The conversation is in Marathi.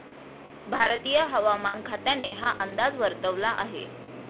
भारतीय हवामान खात्याने हा अंदाज वर्तवला आहे.